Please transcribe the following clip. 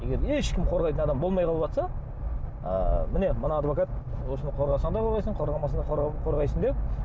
егер ешкім қорғайтын адам болмай қалыватса ы міне мына адвокат осыны қорғасаң да қорғайсың қорғамасаң да қорғайсың деп